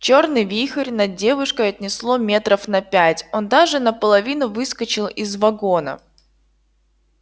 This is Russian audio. чёрный вихрь над девушкой отнесло метров на пять он даже наполовину выскочил из вагона